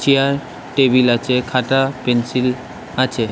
Chair table আছে খাতা pencil আছে ।